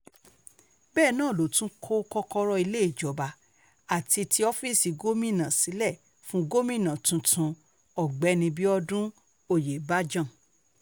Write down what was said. um bákan náà ló tún kọ́ kọ́kọ́rọ́ ilé-ìjọba àti um ti ọ́fíìsì gómìnà sílẹ̀ fún gómìnà tuntun ọ̀gbẹ́ni biodun oyebejàn